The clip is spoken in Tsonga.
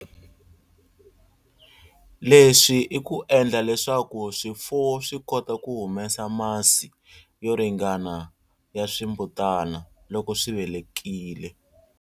Leswi i ku endla leswaku swifuwo swi kota ku humesa masi yo ringana ya swimbutana loko swi velekile.